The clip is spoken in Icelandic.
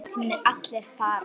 Þið munuð allir farast.